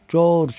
Corc!